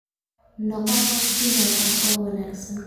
Noqo qof dumar ah oo wanaagsan